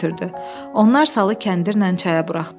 Onlar salı kəndirnən çaya buraxdılar.